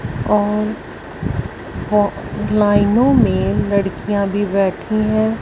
और ग्लाइनो मे लड़कियां भी बैठी है।